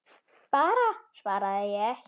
Bara svaraði ég.